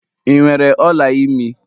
ị nwere ola imi?